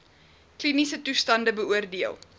kliniese toestande beoordeel